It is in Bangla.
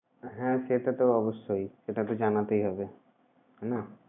হ্যাঁ সেটা তো অবশ্যই, সেটা তো জানাতেই হবে না।